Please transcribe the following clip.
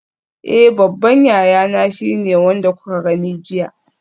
Eh babban yayana shine wanda kuka gani jiya.